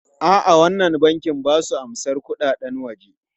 A'a, wannan bankin ba su amsan kuɗaɗen waje.